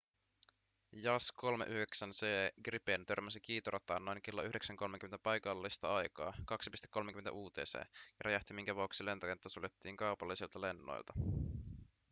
jas 39c gripen törmäsi kiitorataan noin kello 9.30 paikallista aikaa 2.30 utc ja räjähti minkä vuoksi lentokenttä suljettiin kaupallisilta lennoilta